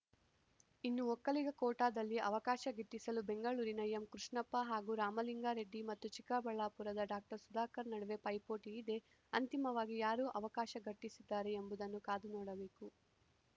ಇನ್ನು ಒಕ್ಕಲಿಗ ಕೋಟಾದಲ್ಲಿ ಅವಕಾಶ ಗಿಟ್ಟಿಸಲು ಬೆಂಗಳೂರಿನ ಎಂ ಕೃಷ್ಣಪ್ಪ ಹಾಗೂ ರಾಮಲಿಂಗಾರೆಡ್ಡಿ ಮತ್ತು ಚಿಕ್ಕಬಳ್ಳಾಪುರದ ಡಾಕ್ಟರ್ ಸುಧಾಕರ್‌ ನಡುವೆ ಪೈಪೋಟಿಯಿದೆ ಅಂತಿಮವಾಗಿ ಯಾರು ಅವಕಾಶ ಗಿಟ್ಟಿಸುತ್ತಾರೆ ಎಂಬುದನ್ನು ಕಾದು ನೋಡಬೇಕು